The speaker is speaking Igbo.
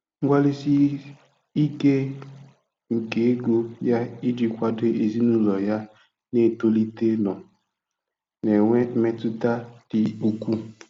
Mgbalịsi ike nke ego ya iji kwado ezinụlọ ya na-etolite nọ na-enwe mmetụta dị ukwuu.